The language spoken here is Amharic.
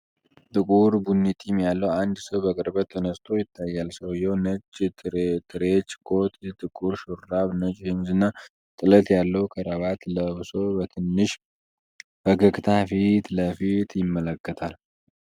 ጥቁር ቡኒ ጢም ያለው አንድ ሰው በቅርበት ተነስቶ ይታያል። ሰውዬው ነጭ ትሬንች ኮት፣ ጥቁር ሹራብ፣ ነጭ ሸሚዝና ጥለት ያለው ክራባት ለብሶ፣ በትንሽ ፈገግታ ፊት ለፊት ይመለከታል።